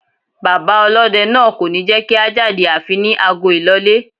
Bàbá ọlọ́dẹ náà kò ní jẹ́kí a jáde àfi ní ago ìlọlé.